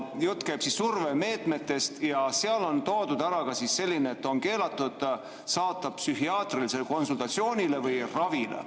Jutt käib survemeetmetest ja seal on toodud ära ka selline, et on keelatud saata psühhiaatrilisele konsultatsioonile või ravile.